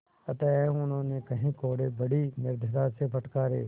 अतएव उन्होंने कई कोडे़ बड़ी निर्दयता से फटकारे